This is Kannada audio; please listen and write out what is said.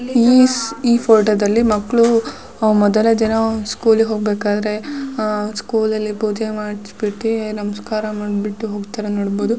ಈ ಫೋಟೋದಲ್ಲಿ ಮಕ್ಕಳು ಮೊದಲ ದಿನ ಸ್ಕೂಲಿಗೆ ಹೋಗ್ಬೇಕಾದ್ರೆ ಹಾ ಸ್ಕೂಲಲ್ಲಿ ಪೂಜೆ ಮಾಡಿಸಿ ಬಿಟ್ಟು ನಮಸ್ಕಾರ ಮಾಡ್ಬಿಟ್ಟು ಹೋಗ್ತಾ ಇರೋದ್ನ ನೋಡಬಹುದು.